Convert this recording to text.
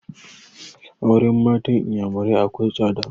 Auren matan inyamurai akwai tsada